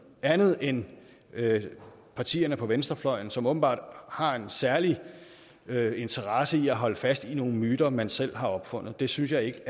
andet end partierne på venstrefløjen som åbenbart har en særlig interesse i at holde fast i nogle myter man selv har opfundet det synes jeg ikke